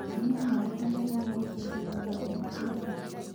Kũnyua mae mbere ya irio gũteĩthagĩa gũthĩa kwa irio